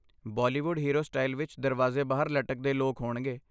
Bollywood hero style ਵਿੱਚ ਦਰਵਾਜ਼ੇ ਬਾਹਰ ਲਟਕਦੇ ਲੋਕ ਹੋਣਗੇ।